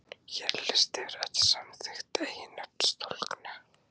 Hér er listi yfir öll samþykkt eiginnöfn stúlkna.